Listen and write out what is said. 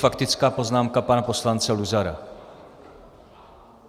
Faktická poznámka pana poslance Luzara.